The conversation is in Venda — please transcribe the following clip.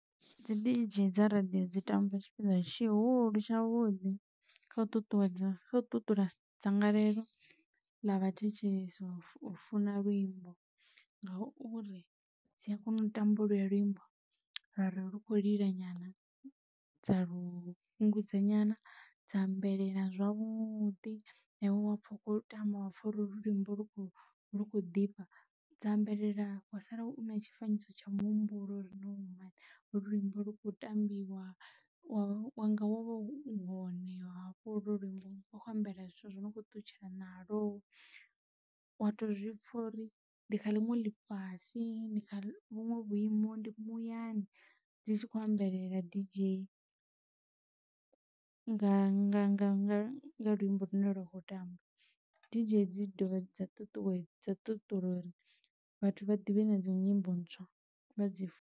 Dzi didzhei dza radio dzi tamba tshipiḓa tshihulu tshavhuḓi kha u ṱuṱuwedza kha u ṱuṱula dzangalelo ḽa vhathetshelesi u funa luimbo ngauri dzi a kona u tamba holuya luimbo ra rari lu khou lila nyana dza lufhungudza nyana dza ambelela zwavhuḓi na iwe wapfa u khou tama wa pfha uri luimbo lu khou lu khou ḓifha dza ambelela wa sala u na tshifanyiso tsha muhumbulo uri ni wane luimbo lu khou tambiwa wa wanga wau honeha hafho holwo luimbo wa khou humbela zwithu zwo no khou ṱutshela na lwo wa to zwi pfha uri ndi kha ḽinwe ḽi fhasi ndi kha vhunwe vhuimo ndi muyani dzi tshi khou ambelela didzhei nga nga luimbo lune lwa kho tamba didzhei dzi dovha dza ṱuṱuwedza ṱuṱula uri vhathu vha ḓivhe na dzi nyimbo ntswa vha dzi.